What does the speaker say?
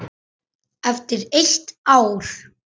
Eftir eitt ár?